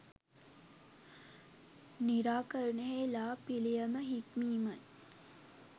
නිරාකරණයෙහි ලා පිළියම හික්මීමයි.